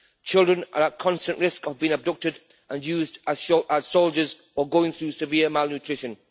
Children are at constant risk of being abducted and used as soldiers or going through severe malnutrition.